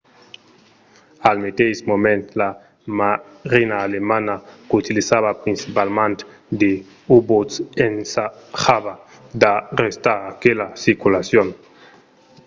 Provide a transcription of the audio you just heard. al meteis moment la marina alemanda qu'utilizava principalament de u-boats ensajava d’arrestar aquela circulacion